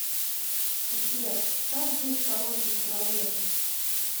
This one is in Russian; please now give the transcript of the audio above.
сбер как быть хорошим человеком